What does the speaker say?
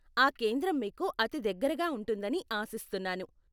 ఆ కేంద్రం మీకు అతి దగ్గరగా ఉంటుందని ఆశిస్తున్నాను.